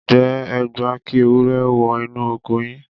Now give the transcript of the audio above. ǹjẹ́ ẹ gbà kí ewúrẹ́ wọ inú oko yín?